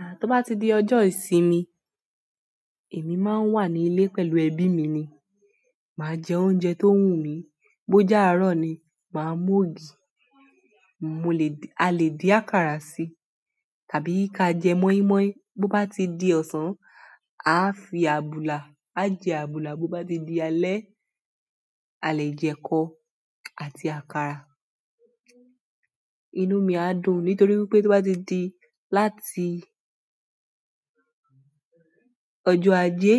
À, tó bá ti di ọjọ́ ìsinmi, èmi máa ń wà ní ilé pẹ̀lú ẹbí mi ni. Máa jẹ oúnjẹ tó wù mí, bó je àárọ̀ ni, máa mú ògì. Mo lè-- a lè dín àkàrà si tàbí ka jẹ mọ́ímọ́í. Bo ba ti di osan, aa fi abula aa je abula bo bá ti di alẹ́, a lè jẹ ẹkọ àti àkàrà. Inú mi á dùn nítorí wípé tó bá ti di láti ọjọ́ ajé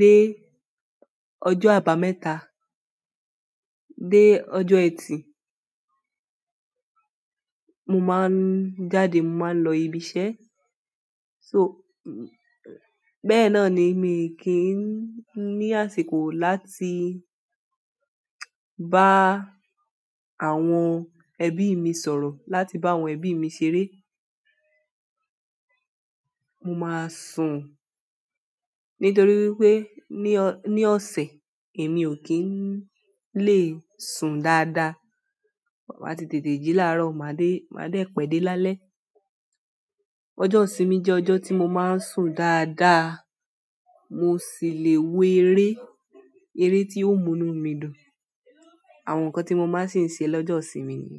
dé ọjọ́ àbámẹ́ta dé ọjọ́ ẹtì, mo ma n jáde, mo ma n lo ibi iṣẹ́. So, bẹ́ẹ̀ ná ni mi kì í ní àsìkò láti bá àwọn ẹbí mi sọ̀rọ̀, láti bá àwọn ẹbí mi ṣeré. Mo máa sùn nítorí wípé ní ọ̀-ní ọ̀sẹ̀, èmi ò kí ń le sùn dáadáa. Mo máa ti tètè jì láàárọ̀, màá dé, màá dé pẹ́dẹ́ lálẹ́. Ọjọ́ ìsinmi jẹ́ ọjọ́ tí mo máa ń sùn dáadáa. Mo sì le wo eré, eré tí yóò mú inú mi dùn. Àwọn nǹkan tí mo máa sì ń ṣe lọ́jọ́ ìsinmi ni.